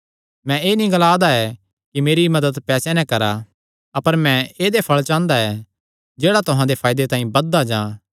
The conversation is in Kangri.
मैं एह़ नीं ग्लांदा ऐ कि मेरी मदत पैसेयां नैं करा अपर मैं ऐदेया फल़ चांह़दा ऐ जेह्ड़ा तुहां दे फायदे तांई बधदा जां